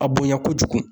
A bonya kojugu